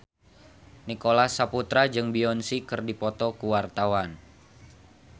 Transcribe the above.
Nicholas Saputra jeung Beyonce keur dipoto ku wartawan